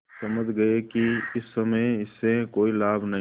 समझ गये कि इस समय इससे कोई लाभ नहीं